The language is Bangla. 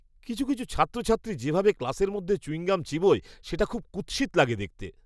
কিছু কিছু ছাত্রছাত্রী যেভাবে ক্লাসের মধ্যে চুইং গাম চিবোয় সেটা খুব কুৎসিত লাগে দেখতে!